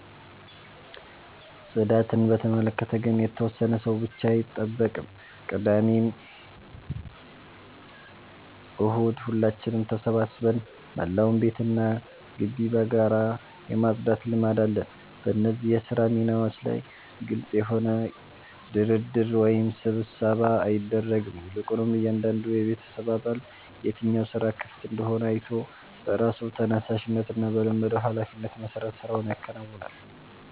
ጽዳትን በተመለከተ ግን የተወሰነ ሰው ብቻ አይጠብቅም፤ ቅዳሜና እሁድ ሁላችንም ተሰባስበን መላውን ቤትና ግቢ በጋራ የማጽዳት ልማድ አለን። በእነዚህ የሥራ ሚናዎች ላይ ግልጽ የሆነ ድርድር ወይም ስብሰባ አይደረግም፤ ይልቁንም እያንዳንዱ የቤተሰብ አባል የትኛው ሥራ ክፍት እንደሆነ አይቶ በራሱ ተነሳሽነትና በለመደው ኃላፊነት መሠረት ሥራውን ያከናውናል።